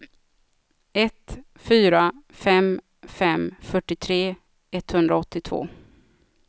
ett fyra fem fem fyrtiotre etthundraåttiotvå